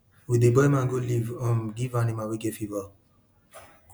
we dey boil mango leaf um give animal wey get fever